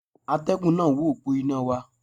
Atẹ́gùn náà wó òpó iná wa.